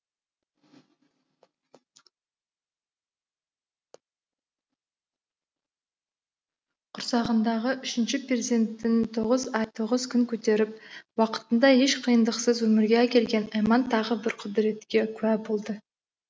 құрсағындағы үшінші перзентін тоғыз ай тоғыз күн көтеріп уақытында еш қиындықсыз өмірге әкелген айман тағы бір құдіретке куә болды